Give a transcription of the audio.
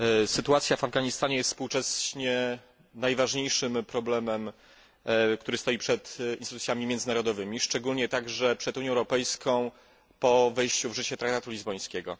Sytuacja w Afganistanie jest współcześnie najważniejszym problemem, który stoi przed instytucjami międzynarodowymi, szczególnie także przed Unią Europejską po wejściu w życie traktatu lizbońskiego.